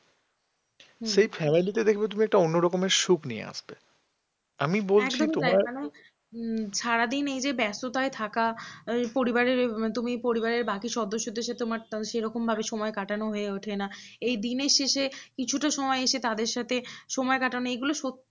সারাদিন এই যে ব্যস্ততায় থাকা পরিবারের তুমি পরিবারের বাকি সদস্যদের সঙ্গে তোমার সেরকমভাবে সময় কাটানো হয়ে ওঠে না এই দিনের শেষে কিছুটা সময় এসে তাদের সাথে সময় কাটানো এগুলো সত্যি